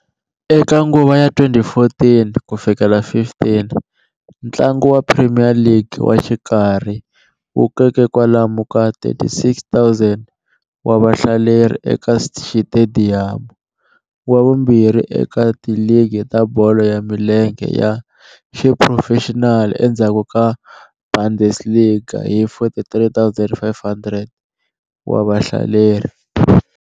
Eka nguva ya 2014-15, ntlangu wa Premier League wa xikarhi wu koke kwalomu ka 36,000 wa vahlaleri eka xitediyamu, wa vumbirhi eka tiligi ta bolo ya milenge ya xiphurofexinali endzhaku ka Bundesliga hi 43,500 wa vahlaleri.